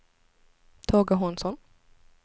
Tage Hansson